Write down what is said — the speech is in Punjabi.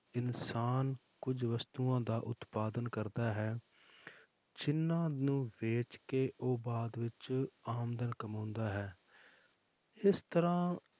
ਇਨਸਾਨ ਕੁੱਝ ਵਸਤੂਆਂ ਦਾ ਉਤਪਾਦਨ ਕਰਦਾ ਹੈ ਜਿੰਨਾਂ ਨੂੰ ਵੇਚ ਕੇ ਉਹ ਬਾਅਦ ਵਿੱਚ ਆਮਦਨ ਕਮਾਉਂਦਾ ਹੈ ਇਸ ਤਰ੍ਹਾਂ